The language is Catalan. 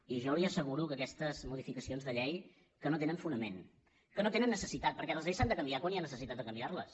i jo li asseguro que aquestes modificacions de llei no tenen fonament que no tenen necessitat perquè les lleis s’han de canviar quan hi ha necessitat de canviar les